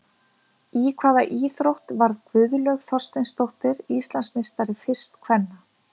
Í hvaða íþrótt varð Guðlaug Þorsteinsdóttir Íslandsmeistari, fyrst kvenna?